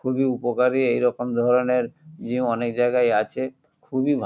খুবই উপকারী এইরকম ধরনের জিম অনেক জায়গাই আছে খুবই ভালো ।